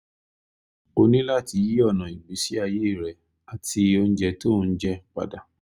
o ní láti yí ọ̀nà ìgbésí ayé rẹ àti oúnjẹ tó ò ń jẹ padà